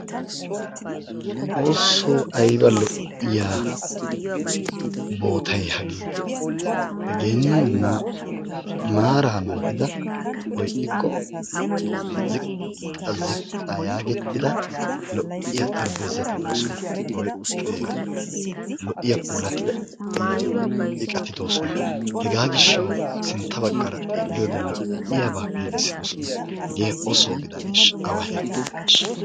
Xoosso! Aybba lo"iya boottay hagee, hegenne maara naagida woy ixxikko ziqqa ziqqa yaagettida lo"iya xarapheezati doosona. Lo"iya puulattida iqqati doosona, hega gishshawu sintta baggaara xeelliyoode lo"iyaaba giigissidoosona. Hegee oso gidanesha awa heera gidaneshsha!